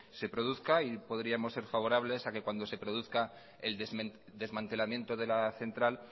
se produzca y podríamos ser favorables a que cuando se produzca el desmantelamiento de la central